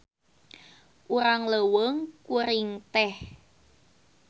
Urang leuweung kuring teh.